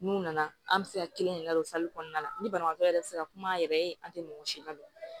N'u nana an bɛ se ka kelen de ladon kɔnɔna na ni banabagatɔ yɛrɛ tɛ se ka kuma an yɛrɛ ye an tɛ mɔgɔ si ladɔn